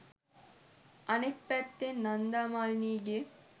අනෙක් පැත්තෙන් නන්දා මාලිනීගේ